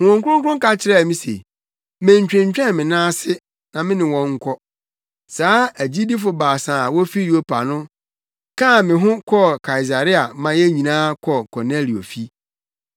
Honhom Kronkron ka kyerɛɛ me se menntwentwɛn me nan ase na me ne wɔn nkɔ. Saa agyidifo baasa yi a wofi Yopa no kaa me ho kɔɔ Kaesarea ma yɛn nyinaa kɔɔ Kornelio fi.